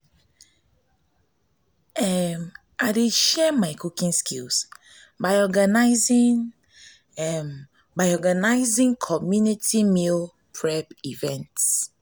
i dey share my cooking skills by organizing by organizing community meal prep events.